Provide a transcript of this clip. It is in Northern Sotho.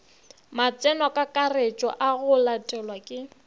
matsenokakaretšo a go latelwa ke